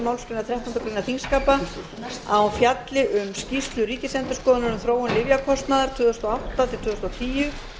þrettándu greinar þingskapa að hún fjalli um skýrslu ríkisendurskoðunar um þróun lyfjakostnaðar tvö þúsund og átta til tvö þúsund og tíu